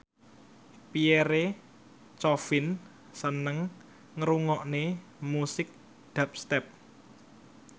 Pierre Coffin seneng ngrungokne musik dubstep